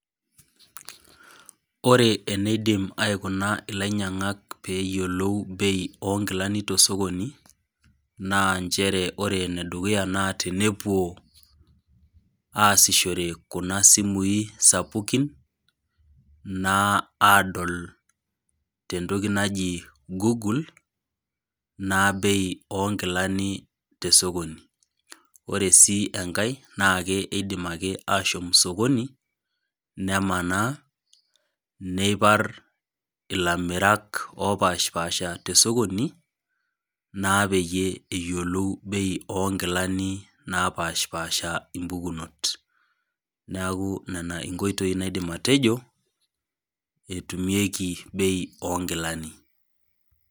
Ore eneidim aikuna inyainyangak peyiolou bei onkilani tosokoni naa nchere ore enedukuya naa tenepuo aasishore kuna simui sapukin naa adol tentoki naji google naa bei onkilani tosokoni , ore sii enkae naa keidim ashom sokoni nemanaa , neipar ilamerak opashpasha tesokoni naa peyie eyiolou bei onkilani napashpasha impukunot ,neeku nena inkoitoi naidim atejo etumieki bei onkilani .